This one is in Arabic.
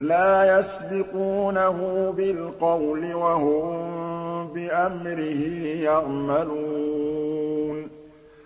لَا يَسْبِقُونَهُ بِالْقَوْلِ وَهُم بِأَمْرِهِ يَعْمَلُونَ